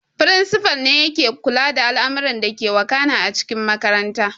Firinsifal ne yake kula da al'amuran dake wakana a cikin makarantar